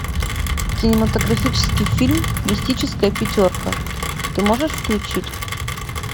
кинематографический фильм мистическая пятерка ты можешь включить